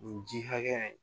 Nin ji hakɛya in